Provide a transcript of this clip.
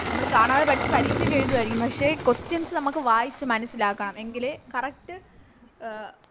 നമ്മള് കാണാതെ പഠിച്ച് പരീക്ഷ ഒക്കെ എഴുതുവാരിക്കും പക്ഷെ Questions നമുക്ക് വായിച്ച് മനസ്സിലാക്കണം എങ്കിലേ Correct അഹ്